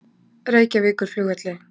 Reykjavíkurflugvelli